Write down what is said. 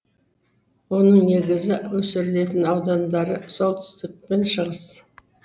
оның негізгі өсірілетін аудандары солтүстік пен шығыс